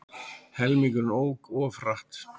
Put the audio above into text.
Helmingurinn ók of hratt